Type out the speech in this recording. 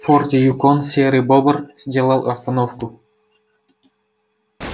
в форте юкон серый бобр сделал остановку